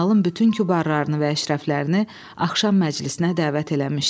Məhəlin bütün kübarlarını və əşrəflərini axşam məclisinə dəvət eləmişdi.